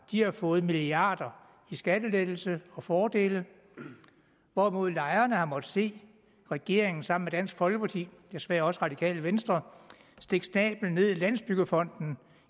har fået milliarder i skattelettelser og fordele hvorimod lejerne har måttet se regeringen sammen med dansk folkeparti desværre også radikale venstre stikke snabelen ned i landsbyggefonden